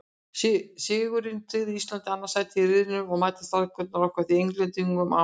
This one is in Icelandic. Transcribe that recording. Sigurinn tryggði Íslandi annað sætið í riðlinum og mæta Strákarnir okkar því Englendingum á mánudaginn.